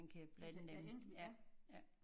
Ja i det der enkelvis ja